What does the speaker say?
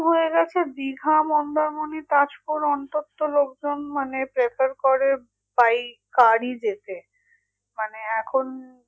হয়ে গেছে দিঘা, মন্দারমণি, তাজপুর, অন্তত লোকজন মানে prefer করে by car ই যেতে মানে এখন